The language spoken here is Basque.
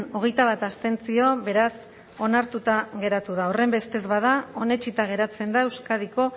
hogeita bat abstentzio beraz onartuta geratu da horrenbestez bada onetsita geratzen da euskadiko